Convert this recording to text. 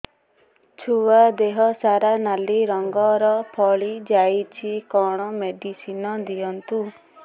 ଛୁଆ ଦେହ ସାରା ନାଲି ରଙ୍ଗର ଫଳି ଯାଇଛି କଣ ମେଡିସିନ ଦିଅନ୍ତୁ